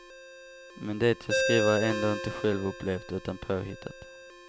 Men det jag skriver är ändå inte självupplevt, utan påhittat.